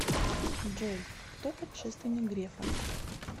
джой кто предшественник грефа